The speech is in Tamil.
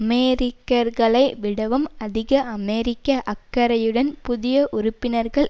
அமெரிக்கர்களை விடவும் அதிக அமெரிக்க அக்கறையுடன் புதிய உறுப்பினர்கள்